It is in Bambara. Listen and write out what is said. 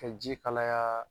Ka ji kalaya